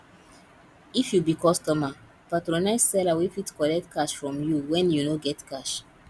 if you be customer patronize seller wey fit collect cash from you when you no get cash